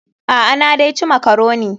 A'a, na dai ci makaroni.